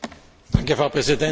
Frau Präsidentin!